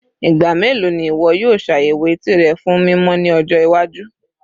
Igba melo ni iwọ yoo ṣayẹwo eti rẹ fun mimọ ni ọjọ iwaju?